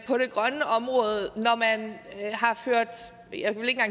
på det grønne område har ført jeg vil ikke